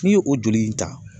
N'i ye o joli in ta